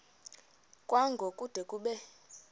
kwango kude kube